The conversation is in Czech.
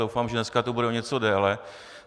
Doufám, že dneska tu bude o něco déle.